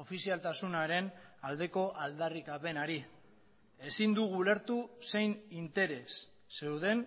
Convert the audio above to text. ofizialtasunaren aldeko aldarrikapenari ezin dugu ulertu zein interes zeuden